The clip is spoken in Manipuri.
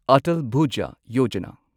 ꯑꯇꯜ ꯚꯨꯖꯥ ꯌꯣꯖꯥꯅꯥ